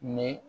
Ni